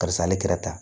Karisa ale kɛra tan